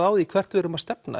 á því hvað við erum að stefna